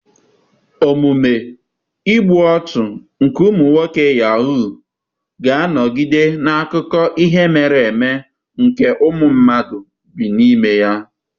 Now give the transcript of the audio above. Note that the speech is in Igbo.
Omume igbu ọchụ nke ụmụ nwoke yahuu ga-anọgide n'akụkọ ihe mere eme nke ụmụ mmadụ bi n'ime ya.